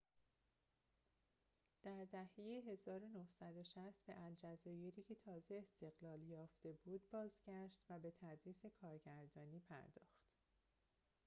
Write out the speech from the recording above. در دهه ۱۹۶۰ به الجزایری که تازه استقلال یافته بود بازگشت و به تدریس کارگردانی پرداخت